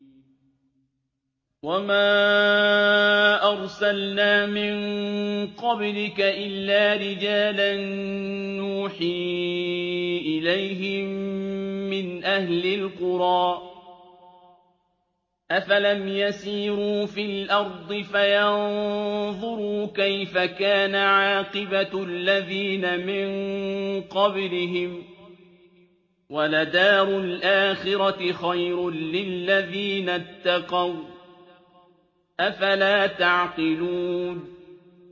وَمَا أَرْسَلْنَا مِن قَبْلِكَ إِلَّا رِجَالًا نُّوحِي إِلَيْهِم مِّنْ أَهْلِ الْقُرَىٰ ۗ أَفَلَمْ يَسِيرُوا فِي الْأَرْضِ فَيَنظُرُوا كَيْفَ كَانَ عَاقِبَةُ الَّذِينَ مِن قَبْلِهِمْ ۗ وَلَدَارُ الْآخِرَةِ خَيْرٌ لِّلَّذِينَ اتَّقَوْا ۗ أَفَلَا تَعْقِلُونَ